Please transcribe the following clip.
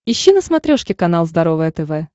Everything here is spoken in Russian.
ищи на смотрешке канал здоровое тв